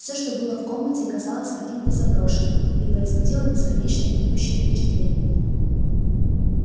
все что было в комнате казалось каким-то заброшенным и производило бесконечно гнетущее впечатление